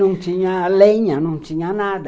Não tinha lenha, não tinha nada.